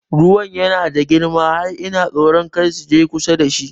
Ruwan yana da girma har ina tsoro kada su je kusa da shi